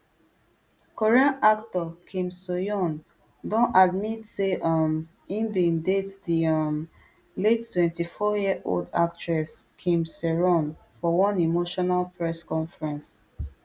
korean actor kim soohyun don admit say um e bin date di um late twenty-fouryearold actress kim saeron for one emotional press conference